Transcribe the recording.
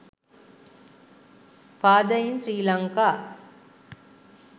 father in sri lanka